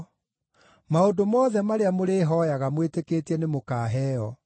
Maũndũ mothe marĩa mũrĩhooyaga mwĩtĩkĩtie nĩmũkaheo.”